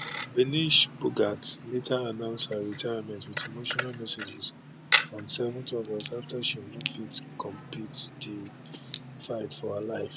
vinesh phogat later announce her retirement wit emotional message on 7 august afta she no fit compete for di fight of her life